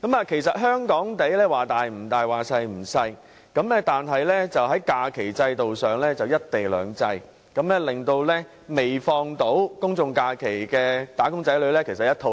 其實，香港面積不算大亦不算小，但在假期制度上卻實行"一地兩制"，令未能享有公眾假期的"打工仔女"滿腹牢騷。